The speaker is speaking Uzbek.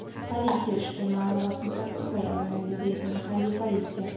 Politsiya ushbu ma’lumotni tasdiqlay olmaydi”, deydi mahalliy politsiya.